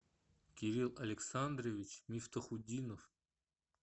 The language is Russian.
кирилл александрович мифтахутдинов